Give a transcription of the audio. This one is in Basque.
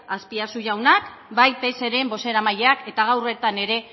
azpiazu jaunak bai pseren bozeramaileak eta gaur bertan ere